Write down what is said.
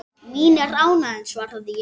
Mín er ánægjan svaraði ég.